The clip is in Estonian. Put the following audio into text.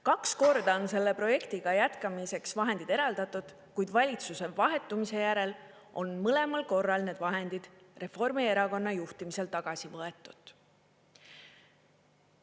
Kaks korda on selle projektiga jätkamiseks vahendid eraldatud, kuid valitsuse vahetumise järel on mõlemal korral need vahendid Reformierakonna juhtimisel tagasi võetud.